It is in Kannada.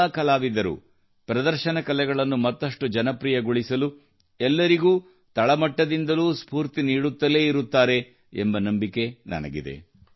ಎಲ್ಲಾ ಕಲಾವಿದರೂ ಪ್ರದರ್ಶನ ಕಲೆಗಳನ್ನು ಮತ್ತಷ್ಟು ಜನಪ್ರಿಯಗೊಳಿಸಲು ಎಲ್ಲರಿಗೂ ತಳಮಟ್ಟದಿಂದಲೂ ಸ್ಪೂರ್ತಿ ನೀಡುತ್ತಲೇ ಇರುತ್ತಾರೆ ಎಂಬ ನಂಬಿಕೆ ನನಗಿದೆ